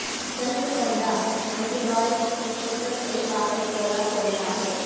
جذب کردہ اینٹیڈائڈز کی فہرست ایک واقف سوڈا کھولتا ہے